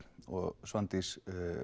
Svandís